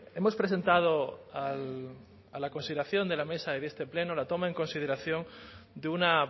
hemos presentado a la consideración de la mesa y de este pleno la toma en consideración de una